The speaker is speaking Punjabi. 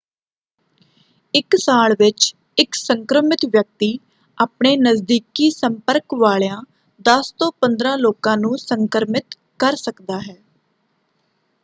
ਇੱਕ ਸਾਲ ਵਿੱਚ ਇੱਕ ਸੰਕ੍ਰਮਿਤ ਵਿਅਕਤੀ ਆਪਣੇ ਨਜ਼ਦੀਕੀ ਸੰਪਰਕ ਵਾਲਿਆਂ 10 ਤੋਂ 15 ਲੋਕਾਂ ਨੂੰ ਸੰਕ੍ਰਮਿਤ ਕਰ ਸਕਦਾ ਹੈ।